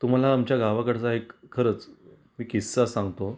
तुम्हाला आमच्या गावाकडचा एक खरच एक किस्सा सांगतो.